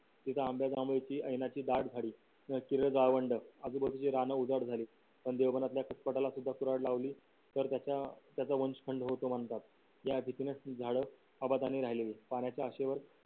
इथं आंब्या जांभूळ ची येण्याची दाट झाडी एक किलो गावंड आज बाजूचे रान उजाट झाली आणि देवघरातल्या खोपटाला सुद्धा कुराड लावली तर त्याचा वंश खंड होतो म्हणतात या भीतीनेच झाड आबादानी राहिले पाण्याच्या आशेवर